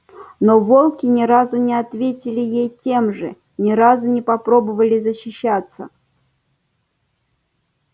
но волки ни разу не ответили ей тем же ни разу не попробовали защищаться